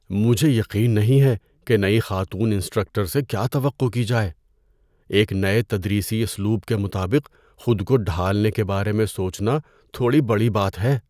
مجھے یقین نہیں ہے کہ نئی خاتون انسٹرکٹر سے کیا توقع کی جائے۔ ایک نئے تدریسی اسلوب کے مطابق خود کو ڈھالنے کے بارے میں سوچنا تھوڑی بڑی بات ہے۔